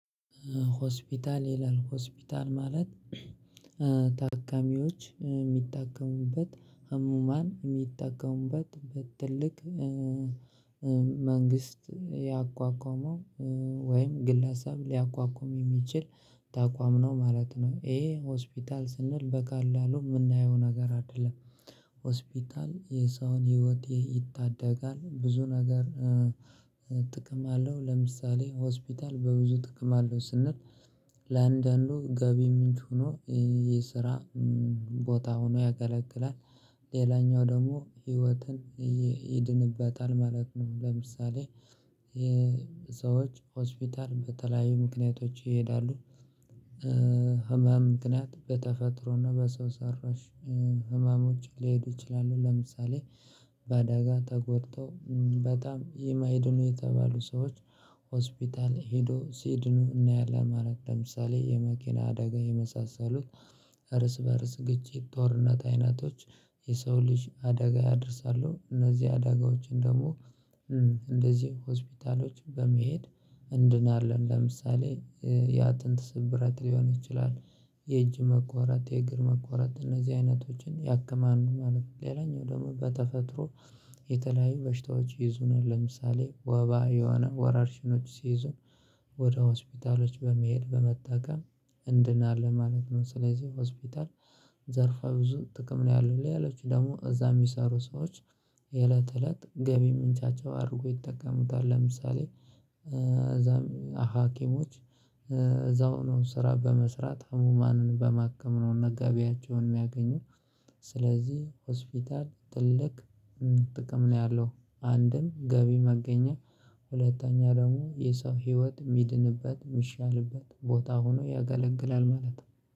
ሆስፒታል ይላል ሆስፒታል ማለት ታካሚዎች የሚታከሙበት ህሙማን የሚጠቀሙበት በትልቅ መንግስት ያቋቋመው ወይም ግለሰብ ሊያቋቁም የሚችል ተቋም ነው ማለት ነው። ይሄ ሆስፒታል ስንል በቀላሉ የምናየው ነገር አይደለም። ሆስፒታል የሰውን ህይወት ይታደጋል ብዙ ነገር ጥቅም አለው። ለምሳሌ ሆስፒታል በብዙ ጥቅም አለው ስንል ለአንዳንዱ ገቢ ምንጭ ሆኖ ይሄ ስራ ቦታ ሆኖ ያገለግላል ሌላኛው ደግሞ ህይወትን ይድንበታል ማለት ነው። ለምሳሌ ሰዎች ሆስፒታል በተለያዩ ምክንያቶች ይሄዳሉ። ህመም ምክንያት በተፈጥሮና በሰው ሰራሽ ህመሞች ሊሄዱ ይችላሉ። ለምሳሌ በአደጋ ተጎድተው በጣም ይማይድኑ የተባሉ ሰዎች ሆስፒታል ሄዶ ሲድኑ እናያለን። ማለት ለምሳሌ የመኪና አደጋ የመሳሰሉት እርስ በእርስ ግጭት ጦርነት አይነቶች የሰው ልጅ አደጋ ያደርሳሉ እነዚህ አዳጋዎችን ደግሞ እንደዚህ ሆስፒታሎች በመሄድ እንድናለን። ለምሳሌ የአጥንት ስብራት ሊሆን ይችላል የእጅ መቆረጥ የእግር መቆረጥ እነዚህ አይነቶችን ያክማሉ ማለት ነው። ሌላኛው ደግሞ በተፈጥሮ የተለያዩ በሽታዎች ይይዙናል ለምሳሌ ወባ የሆነ ወረሽኞች ሲይዙን ወደ ሆስፒታሎች በመሄድ በመጠቀም እንድናለ ማለት ነው። ስለዚህ ሆስፒታል ዘርፈ ብዙ ጥቅም ነው ያለው ሌሎቹ ደግሞ እዛ የሚሰሩ ሰዎች የእለት እለት ገቢ ምንጫቸው አድርጎ ይጠቀሙታል። ለምሳሌ እዛ ሀኪሞች እዛው ነው ስራ በመስራት ህሙማንን በማከም ነው መጋቢያቸውን የሚያገኙ። ስለዚህ ሆስፒታል ትልቅ ጥቅም ነው ያለው አንድም ገቢ ማገኛ ሁለተኛ ደግሞ የሰው ህይወት የሚድንበት የሚሻልበት ቦታ ሆኖ ያገለግላል ማለት ነው።